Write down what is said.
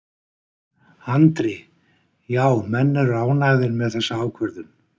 Andri: Já, menn eru ánægðir með þessa ákvörðun?